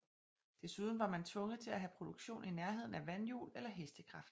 Desuden var man tvunget til at have produktionen i nærheden af vandhjul eller hestekraft